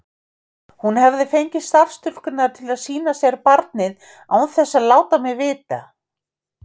Hún hafði fengið starfsstúlkurnar til að sýna sér barnið án þess að láta mig vita.